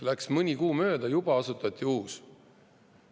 Läks mõni kuu mööda, juba asutati uus.